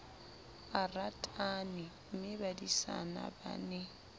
a ratane mmebadisana ba ne